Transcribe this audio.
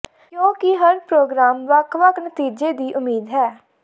ਕਿਉਕਿ ਹਰ ਪ੍ਰੋਗਰਾਮ ਵੱਖ ਵੱਖ ਨਤੀਜੇ ਦੀ ਉਮੀਦ ਹੈ